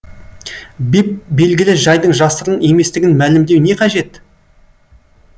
беп белгілі жайдың жасырын еместігін мәлімдеу не қажет